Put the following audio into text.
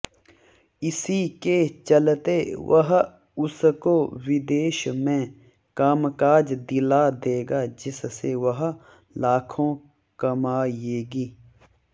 इसी के चलते वह उसको विदेश में कामकाज दिला देगा जिससे वह लाखों कमायेगी